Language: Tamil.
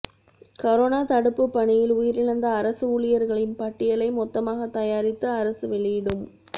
கரோனா தடுப்புப் பணியில் உயிரிழந்த அரசு ஊழியா்களின் பட்டியலை மொத்தமாகத் தயாரித்து அரசு வெளியிடும்